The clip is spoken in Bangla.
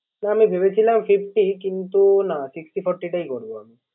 তা আমি ভেবেছিলাম Fifty কিন্তু না Sixty forty টাই করব আমি